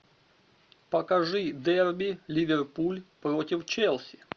покажи дерби ливерпуль против челси